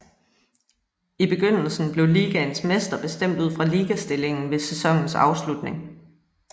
I begyndelse blev ligaens mester bestemt ud fra ligastillingen ved sæsonens afslutning